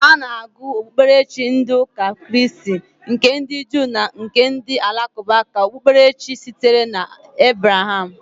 Ana agụ okpukperechi ndi ụka kraist, nke ndi juu na nke ndi alakụba ka okpukperechi sitere na Ebraham.